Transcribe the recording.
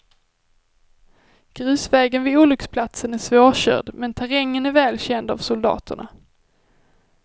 Grusvägen vid olycksplatsen är svårkörd men terrängen är väl känd av soldaterna.